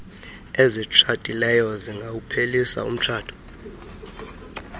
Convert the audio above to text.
ezitshatileyo zingawuphelisa umtshato